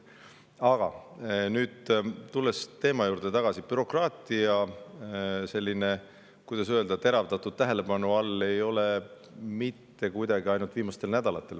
Aga nüüd tulles teema juurde tagasi, bürokraatia ei ole, kuidas öelda, teravdatud tähelepanu all mitte ainult viimastel nädalatel.